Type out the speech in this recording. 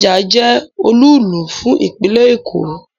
Ikeja je olúùlú fún ìpínlè Èkó